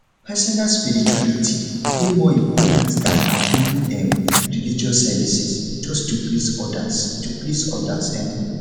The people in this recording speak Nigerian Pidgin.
personal spirituality dey more important than at ten ding um religious services just to please odas to please odas um